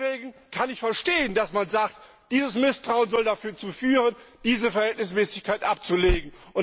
Deswegen kann ich verstehen, dass man sagt, dieses Misstrauen soll dazu führen, diese Verhältnismäßigkeit abzulehnen.